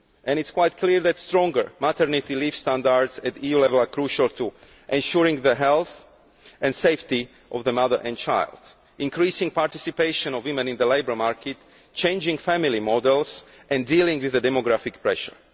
It is quite clear that stronger maternity leave standards at EU level are crucial to ensuring the health and safety of the mother and child, as are increasing participation of women in the labour market, changing family models and dealing with demographic pressure.